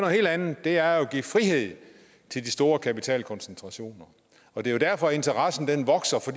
helt andet det er at give frihed til de store kapitale koncentrationer og det er jo derfor at interessen vokser for